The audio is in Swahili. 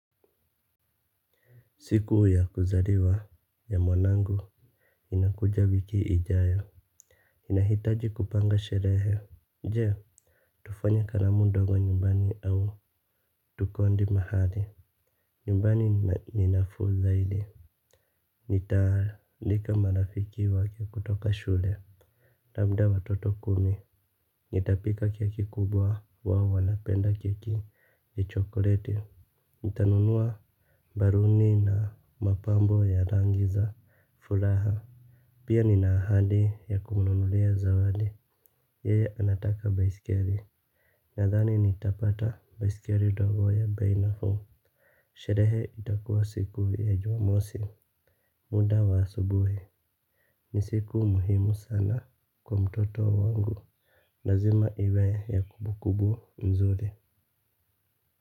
Siku ya kuzariwa ya mwanangu inakuja wiki ijayo. Inahitaji kupanga sherehe. Jee tufanya karamu ndogo nyumbani au tukondi mahali. Nyumbani ninafuu zaidi. Nitaalika marafiki wake kutoka shule. Labda watoto kumi. Nitapika keki kubwa wao wanapenda keki ya chokleti. Nitanunua baruni na mapambo ya rangi za Fulaha. Pia nina ahadi ya kumnunulia zawadi. Yeye anataka baisikeri. Nathani nitapata baisikeri dogo ya bei nafuu. Sherehe itakuwa siku ya juamosi. Muda wa subuhi. Ni siku muhimu sana kwa mtoto wangu. Lazima iwe ya kubukubu mzuri.